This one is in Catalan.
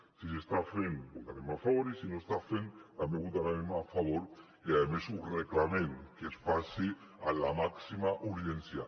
si s’està fent hi votarem a favor i si no s’està fent també hi votarem a favor i a més reclamem que es faci amb la màxima urgència